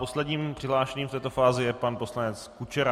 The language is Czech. Posledním přihlášeným v této fázi je pan poslanec Kučera.